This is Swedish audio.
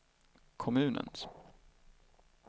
kommunens